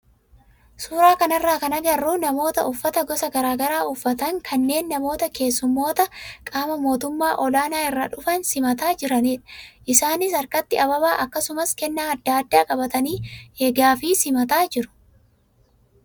Suuraa kanarraa kan agarru namoota uffata gosa garaagaraa uffatan kanneen namoota keessummoota qaama mootummaa olaanaa irraa dhufan simataa jiranidha. Isaanis harkatti ababaa akkasumas kennaa adda addaa qabatanii eegaa fi simataa jiru.